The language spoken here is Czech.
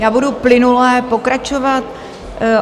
Já budu plynule pokračovat.